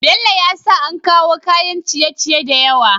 Bello ya sa an kawo kayan ciye ciye da yawa